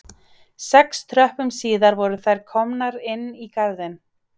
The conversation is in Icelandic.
Sex tröppum síðar voru þær komnar inn í garðinn